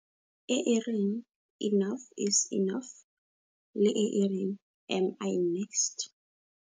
E e reng, Enough is Enough! Le e e reng, Am I next?